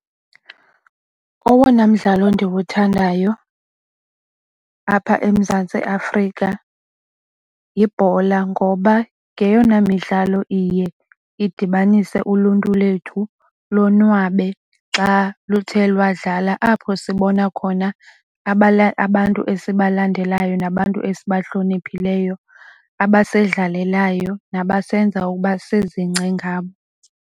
Owona mdlalo ndiwuthandayo apha eMzantsi Afrika yibhola ngoba ngeyona midlalo iye idibanise uluntu lethu lonwabe xa luthe lwadlala. Apho sibona khona abantu esibalandelayo nabantu esibahloniphileyo abasindlalelayo nabasenzi ukuba sizingce ngabo.